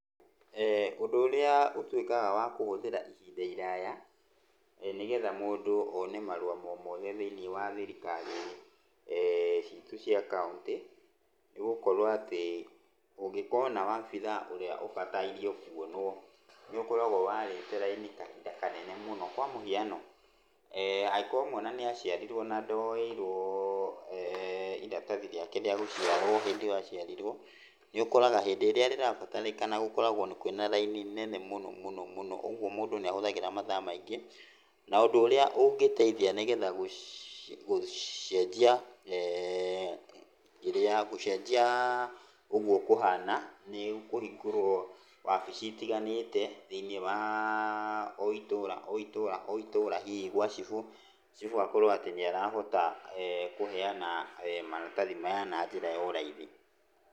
Ũndu ũrĩa ũtuĩkaga wa kũhũthĩra ihinda iraya, nĩgetha mũndũ one marũa o mothe thĩiniĩ wa thirikari citũ cia kaũntĩ nĩ gũkorwo atĩ, ũngĩkona wobithaa ũrĩa ũbataire kwonwo nĩ ũkoraga warĩte laini kahinda kanene mũno. Kwa mũhiano, angĩkorwo mwana nĩ aciarirwo na ndoeirwo iratathi rĩake rĩa gũciarwo hĩndĩ ĩyo aciarirwo, nĩ ũkũroga hĩndĩ ĩrĩa rĩrabatarĩkana nĩ ũkoraga kwĩna laini nene mũno mũno mũno, ũguo mũndũ nĩ ahũthagĩra mathaa maingĩ. Na ũndũ ũrĩa ũngĩteithia nĩgetha gũcenjia, ũguo kũhana nĩ kũhingũrwo wabici itiganĩte thĩinĩ wa o itũũra, o itũũra, o itũũra, hihi gwa chibũ, chibũ akorwo atĩ nĩ arahota kũheana maratathi maya na njĩra ya raithi.